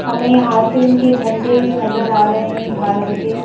हमें यहां पे उनके झंडे नजर आ रहे हैं भारत के।